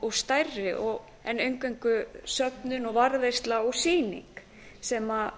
og stærri en eingöngu söfnin og varðveisla og sýning sem